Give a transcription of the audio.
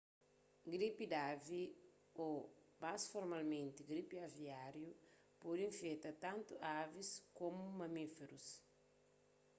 gripi di avi ô más formalmenti gripi aviáriu pode infeta tantu avis komu mamíferus